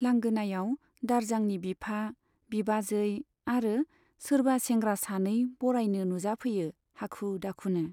लांगोनायाव दारजांनि बिफा, बिबाजै आरो सोरबा सेंग्रा सानै बरायनो नुजाफैयो हाखु दाखुनो।